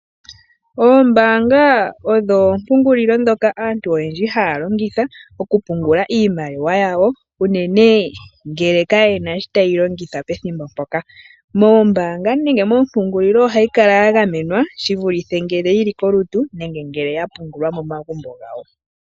Oombaanga odho oompungulilo ndhoka aantu oyendji haa longitha okupungula iimaliwa yawo, unene ngele kaye na shoka taye yi longitha pethimbo mpoka. Moombaanga nenge moompungulilo ohayi kala ya gamenwa shivulithe ngele yi li kolutu, nenge ngele ya pungulwa momagumbo gawo.